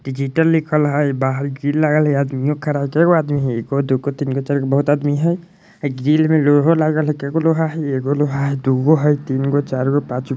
डिजिटल लिखल हई बाहर भीड़ लागल हई आदमीओ खड़ा हई कै गो आदमी हई एगो दू गो तिन गो चार गो बहुत आदमी हई | ग्रिल में लोहो लागल हई कैगो लोहा हई ? एगो लोहा हई दूगो तिन गो चार गो पाँच गो |